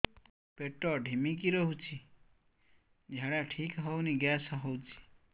ପେଟ ଢିମିକି ରହୁଛି ଝାଡା ଠିକ୍ ହଉନି ଗ୍ୟାସ ହଉଚି